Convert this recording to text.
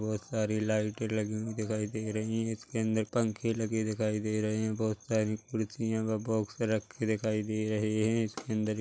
बहोत सारी लाइटे लगी हुई दिखाई दे रही है इसके अंदर पंखे लगे दिखाई दे रहे है बहुत सारी खुरसिया व बॉक्स रखे दिखाई दे रहे हैं इसके अंदर एक--